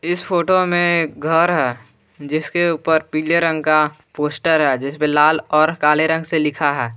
इस फोटो में घर है जिसके ऊपर पीले रंग का पोस्टर है जिसमें लाल और काले रंग से लिखा है।